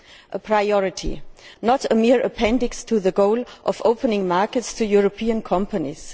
A priority, not a mere appendix to the goal of opening markets to European companies.